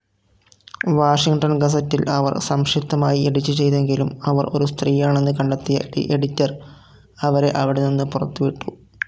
Washington ഗസറ്റിൽ അവർ സംക്ഷിപ്തമായി എഡിറ്റുചെയ്‌തെങ്കിലും അവർ ഒരു സ്ത്രീയാണെന്ന് കണ്ടെത്തിയ എഡിറ്റർ അവരെ അവിടെനിന്നു പുറത്തുവിട്ടു.